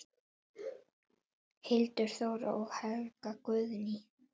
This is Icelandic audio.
Hildur Þóra og Helga Guðný.